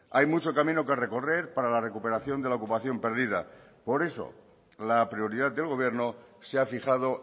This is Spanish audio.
hay mucho camino que recorrer para la recuperación de la ocupación perdida por eso la prioridad del gobierno se ha fijado